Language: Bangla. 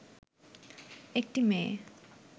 একটি মেয়ে